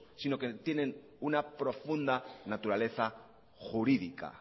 sino que tienen una profunda naturaleza jurídica